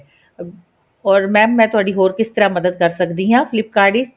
uh or mam ਮੈਂ ਤੁਹਾਡੀ ਹ਼ੋਰ ਕਿਸ ਤਰ੍ਹਾਂ ਮਦਦ ਕਰ ਸਕਦੀ ਹਾਂ flip kart ਵਿੱਚ